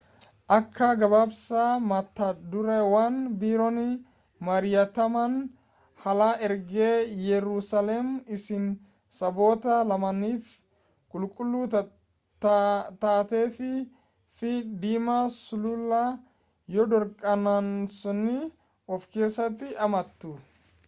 akka gabaasa matadureewwan biroon mari'ataman haala egeree yerusaalem isii saboota lamaaniifuu qulqulluu taatee fi fi dhimma sulula yoordaanosi of keessatti hammatu